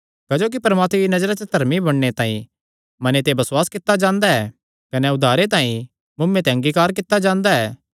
क्जोकि परमात्मे दिया नजरा च धर्मी बणने तांई मने ते बसुआस कित्ता जांदा ऐ कने उद्धार तांई मुँऐ ते अंगीकार कित्ता जांदा ऐ